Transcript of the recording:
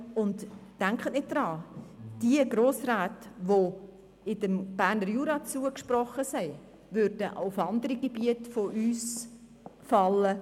Denken Sie nicht daran, diese Grossräte, die dem Berner Jura zugesprochen sind, würden auch auf andere Gebiete von uns fallen.